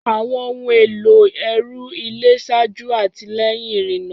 Àwọn ohun èlò ẹrù ilé ṣáájú àti lẹ́yìn ìrìnnà.